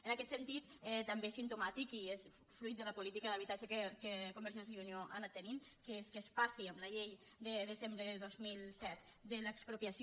en aquest sentit també és simptomàtic i és fruit de la política d’habitatge que convergència i unió ha anat tenint que es passi amb la llei de desembre de dos mil set de l’expropiació